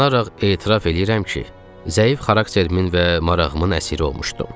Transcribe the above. Utanaraq etiraf eləyirəm ki, zəif xaraktermin və marağımın əsiri olmuşdum.